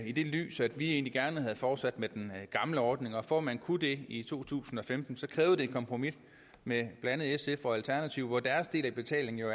i det lys at vi egentlig gerne havde fortsat med den gamle ordning og for at man kunne det i to tusind og femten et kompromis med blandt andet sf og alternativet hvor deres del af betalingen jo